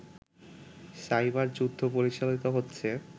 cyber যুদ্ধ পরিচালিত হচ্ছে